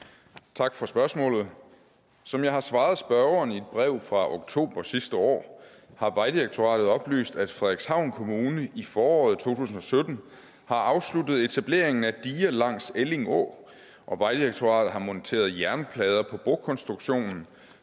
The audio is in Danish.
tak for spørgsmålet som jeg har svaret spørgeren i et brev fra oktober sidste år har vejdirektoratet oplyst at frederikshavn kommune i foråret to tusind og sytten har afsluttet etableringen af diger langs elling å og vejdirektoratet har monteret jernplader på brokonstruktionen